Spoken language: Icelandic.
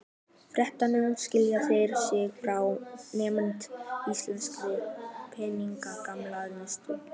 Fréttamaður: Skilja þeir sig frá einmitt íslenskri peningamálastefnu?